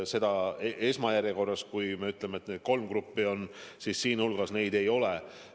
Esmajärjekorras on kolm eelnimetatud gruppi ja neid seal ei ole.